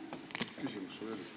Mis küsimus sul oli?